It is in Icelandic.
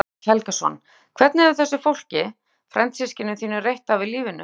Ingimar Karl Helgason: Hvernig hefur þessu fólki, frændsystkinum þínum, reitt af í lífinu?